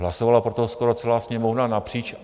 Hlasovala pro to skoro celá Sněmovna napříč?